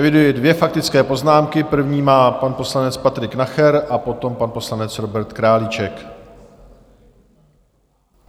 Eviduji dvě faktické poznámky, první má pan poslanec Patrik Nacher a potom pan poslanec Robert Králíček.